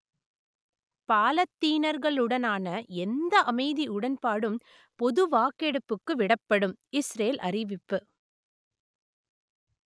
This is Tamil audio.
பாலத்தீனர்களுடனான எந்த அமைதி உடன்பாடும் பொது வாக்கெடுப்புக்கு விடப்படும் இசுரேல் அறிவிப்பு